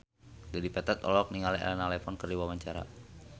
Dedi Petet olohok ningali Elena Levon keur diwawancara